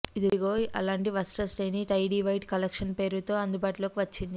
ఇదిగో అలాంటి వస్త్రశ్రేణి టైడీ వైట్ కలెక్షన్ పేరుతో అందుబాటులోకి వచ్చింది